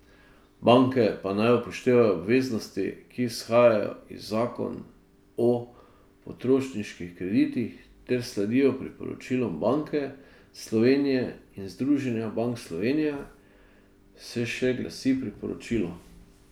Banke pa naj upoštevajo obveznosti, ki izhajajo iz zakon o potrošniških kreditih ter sledijo priporočilom Banke Slovenije in Združenja bank Slovenije, se še glasi priporočilo.